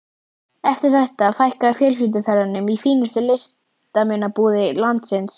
Eftir þetta fækkaði fjölskylduferðunum í fínustu listmunabúðir landsins.